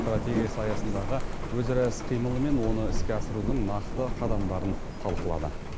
стратегиясы аясындағы өзара іс қимылы мен оны іске асырудың нақты қадамдарын талқылады